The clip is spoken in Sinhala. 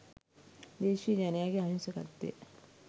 දේශීය ජනයාගේ අහිංසකත්වය